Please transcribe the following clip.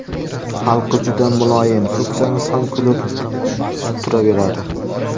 Xalqi juda muloyim, so‘ksangiz ham kulib turaveradi!